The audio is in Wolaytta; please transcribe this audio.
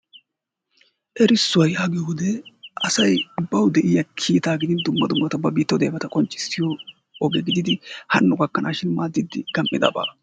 Erissuwaa yaagiyo wode asay bawu de'iya kiittaa gidin dumma dummata ba biittawu deiyabata qonccissiyo oge gididi hano gakkanaashin maaddiidi gam'idabaa.